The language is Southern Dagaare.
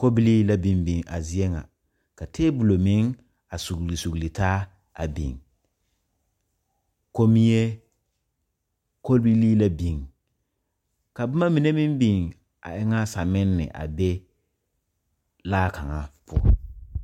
Kobileela biŋbiŋ a zie ŋa ka tabolɔ meŋ a suglisugli taa a biŋ komie kobileela biŋ ka boma mine meŋ biŋ a e ŋa saminɛ na a be laa kaŋa poɔ.